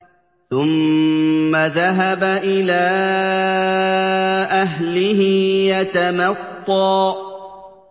ثُمَّ ذَهَبَ إِلَىٰ أَهْلِهِ يَتَمَطَّىٰ